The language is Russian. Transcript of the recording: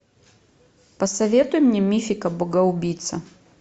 посоветуй мне мифика богоубийца